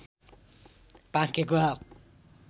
पाकेको आँप